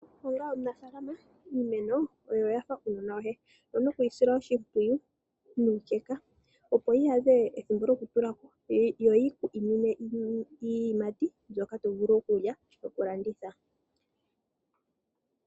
Onga omunafalama iimeno oyo yafa uunona woye, owuna okwisila oshipwiyu nukeka, opo yiyadhe ethimbo lyokutulako yo oyi kwiminine iiyimati mbyoka tovulu okulya nokulanditha.